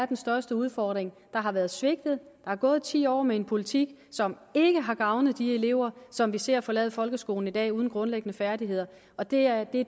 den største udfordring der har været svigtet der er gået ti år med en politik som ikke har gavnet de elever som vi ser forlade folkeskolen i dag uden grundlæggende færdigheder og det er det